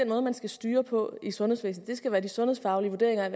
måde man skal styre på i sundhedsvæsenet det skal være de sundhedsfaglige vurderinger